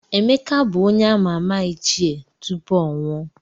Emeka bụ onye a]ma ama Ichie tupu ọ nwụọ.